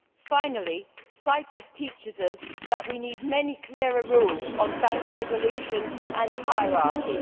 Finally, Cyprus teaches us that we need many clearer rules on bank resolution and hierarchy.